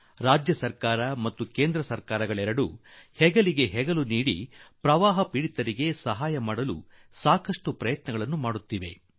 ಪ್ರವಾಹ ಪೀಡಿತರಿಗೆ ನೆರವಾಗಲು ರಾಜ್ಯ ಹಾಗೂ ಕೇಂದ್ರ ಸರ್ಕಾರಗಳು ಕೂಡಿಕೊಂಡು ಹೆಗಲಿಗೆ ಹೆಗಲು ಕೊಟ್ಟು ಬಹಳವೇ ಪ್ರಯತ್ನ ನಡೆಸಿವೆ